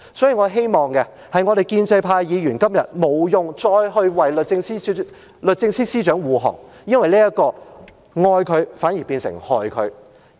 所以，我希望建制派議員今天不用再為律政司司長護航，因為這樣是"愛她反而變成害她"。